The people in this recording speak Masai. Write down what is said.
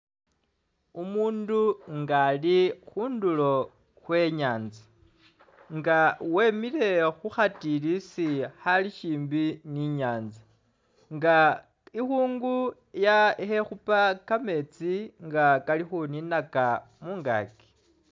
Umuundu nga ali khundulo khwe i'nyaanza nga wemile khu khatilisi akhali shimbi ne inyanza nga ikhungu ukhekhuupa kameetsi kali khuninaaka mungaaki.